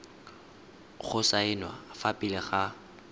go saenwa fa pele ga